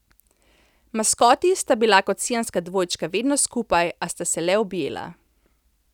Maskoti sta bila kot siamska dvojčka vedno skupaj, a sta se le objela.